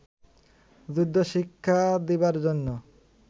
যুদ্ধশিক্ষা দিবার জন্য